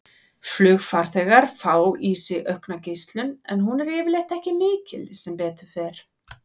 Flugfarþegar fá í sig aukna geislun en hún er yfirleitt ekki mikil, sem betur fer.